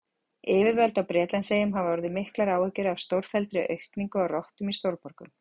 Yfirvöld á Bretlandseyjum hafa orðið miklar áhyggjur af stórfelldri aukningu á rottum í stórborgum.